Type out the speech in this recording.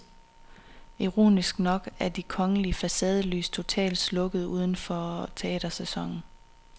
Ironisk nok er de kongelige facadelys totalt slukket uden for teatersæsonen.